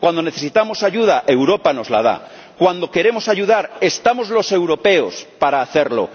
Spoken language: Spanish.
Cuando necesitamos ayuda, Europa nos la da. Cuando queremos ayudar, estamos los europeos para hacerlo.